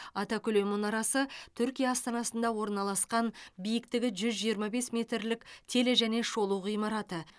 атакүле мұнарасы түркия астанасында орналасқан биіктігі жүз жиырма бес метрлік теле және шолу ғимараты